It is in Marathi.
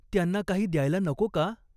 त्यांना काही द्यायला नको का ?